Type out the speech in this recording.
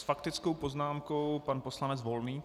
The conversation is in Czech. S faktickou poznámkou pan poslanec Volný.